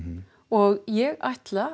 og ég ætla